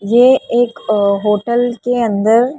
ये एक अ होटल के अंदर --